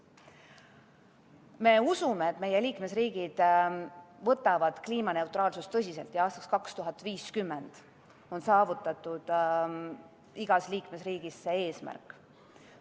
Me usume, et meie liikmesriigid võtavad kliimaneutraalsust tõsiselt ja aastaks 2050 on igas liikmesriigis see eesmärk saavutatud.